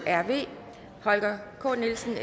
holger k nielsen